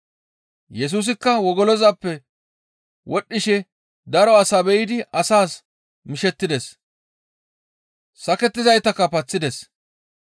Yesusikka wogolozappe wodhdhishe daro asa be7idi asaas mishettides. Sakettizaytakka paththides.